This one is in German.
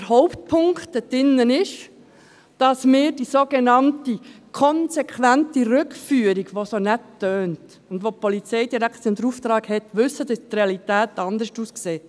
Der Hauptpunkt darin ist, dass wir wissen, dass bei der sogenannten konsequenten Rückführung – was sich so nett anhört und wofür die Polizeidirektion den Auftrag hat – die Realität anders aussieht.